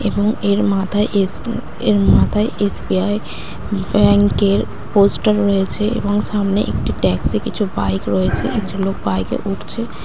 এবং এর মাথায় এস অ্যা এর মাথায় এস.বি.আই. ব্যাংক -এর পোস্টার রয়েছে এবং সামনে একটি ট্যাক্সি কিছু বাইক রয়েছে । একজন লোক বাইক -এ উঠছে ।